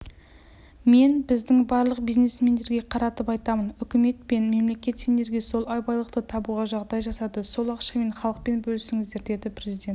мен біздің барлық бизнесмендерге қаратып айтамын үкімет пен мемлекет сендерге сол байлықты табуға жағдай жасады сол ақшамен халықпен бөлісіңіздер деді президент